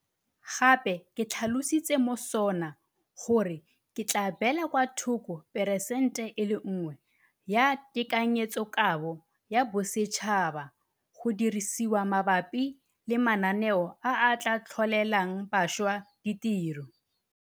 Gape ke tlhalositse mo SoNA gore re tla beela kwa thoko phesente e le nngwe ya tekanyetsokabo ya bosetšhaba go dirisediwa mabapi le mananeo a a tla tlholelang bašwa ditiro.